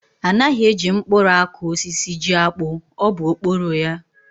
Anaghị e ji mkpụrụ akụ osisi jiakpụ, ọ bụ okporo ya.